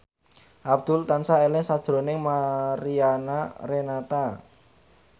Abdul tansah eling sakjroning Mariana Renata